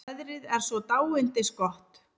Veðrið er svo dáindisgott.